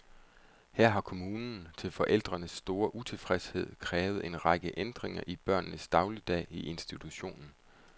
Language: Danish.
Her har kommunen, til forældrenes store utilfredshed, krævet en række ændringer i børnenes dagligdag i institutionen.